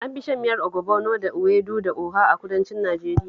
An fi shan miyar ogbono da ewedu da oha a kudancin Najeriya